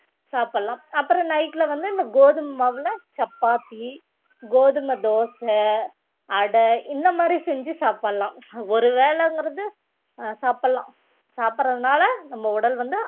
சாப்பிடலாம் அப்புறம் night ல வந்து இந்த கோதுமை மாவுல சப்பாத்தி கோதுமை தோசை அடை இந்த மாதிரி செஞ்சு சாப்பிடலாம் ஒரு வேளைங்கிறது அஹ் சாப்பிடலாம் சாப்பிடறதுனால நம்ம உடல் வந்து